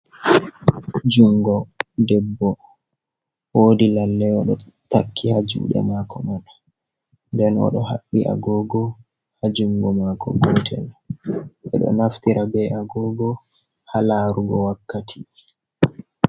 Jungo debbo. Woodi lalle oɗo takki haa juuɗe maako man, nden oɗo haɓɓi agoogo haa jungo maako gotel. Ɓe ɗo naftira be agogo haa laarugo wakkati.